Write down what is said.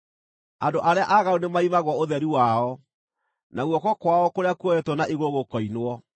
Andũ arĩa aaganu nĩmaimagwo ũtheri wao, na guoko kwao kũrĩa kuoetwo na igũrũ gũkoinwo.